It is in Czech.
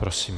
Prosím.